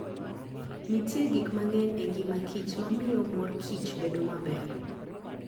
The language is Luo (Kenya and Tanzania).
Nitie gik mang'eny e ngima kich ma miyo mor kich bedo maber.